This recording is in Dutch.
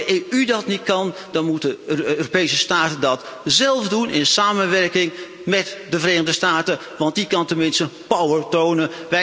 En als de EU dat niet kan, dan moeten Europese staten dat zelf doen in samenwerking met de Verenigde Staten, want die kan tenminste power tonen.